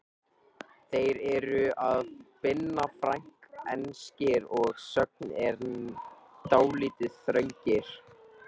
Þeir eru af Binna Frank, enskir að sögn en dálítið þröngir.